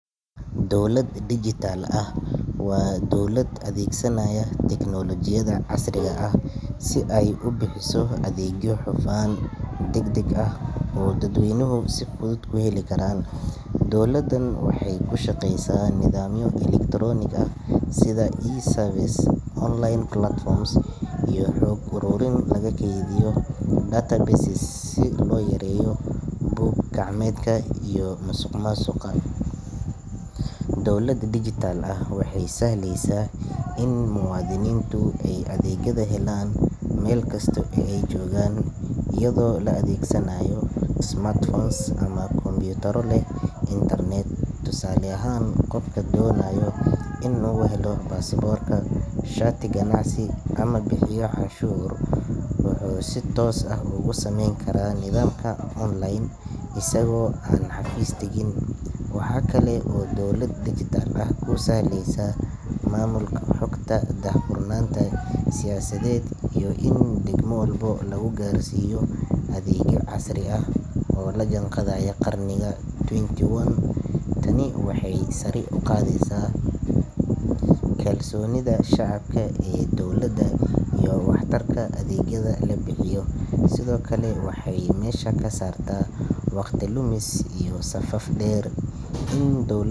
Dowlad digital ah waa dowlad adeegsanaysa tignoolajiyada casriga ah si ay u bixiso adeegyo hufan, degdeg ah oo dadweynuhu si fudud ku heli karaan. Dowladdan waxay ku shaqeysaa nidaamyo elektaroonig ah sida e-services, online platforms iyo xog uruurin lagu kaydiyo databases si loo yareeyo buug gacmeedka iyo musuqmaasuqa. Dowlad digital ah waxay sahlaysaa in muwaadiniintu ay adeegyada helaan meel kasta oo ay joogaan iyadoo la adeegsanayo smartphones ama kombiyuutarro leh internet. Tusaale ahaan, qofka doonaya inuu helo baasaboorka, shati ganacsi ama bixiyo canshuur wuxuu si toos ah uga samayn karaa nidaamka online isagoo aan xafiis tagin. Waxaa kale oo dowlad digital ah ku sahlaysa maamulka xogta, daahfurnaanta siyaasadeed, iyo in degmo walba lagu gaarsiiyo adeegyo casri ah oo la jaanqaadaya qarniga twenty one. Tani waxay sare u qaadaysaa kalsoonida shacabka ee dowladda iyo waxtarka adeegyada la bixiyo. Sidoo kale waxay meesha ka saartaa wakhti lumis iyo safaf dhaadheer. In dowladdu.